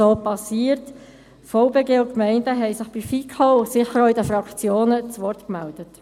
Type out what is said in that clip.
Der Verband Bernischer Gemeinden (VBG) und die Gemeinden haben sich bei der FiKo und sicher auch in den Fraktionen zu Wort gemeldet.